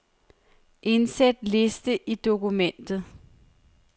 Indsæt liste i dokumentet.